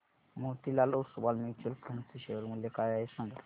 Motilal Oswal mutual fund चे share मूल्य काय आहे सांगा